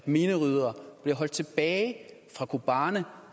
mineryddere bliver holdt tilbage fra kobane